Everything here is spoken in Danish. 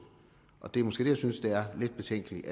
og det er måske det jeg synes er lidt betænkeligt